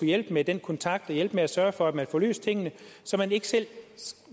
hjælpe med den kontakt og hjælpe med at sørge for at man kan få løst tingene så man ikke selv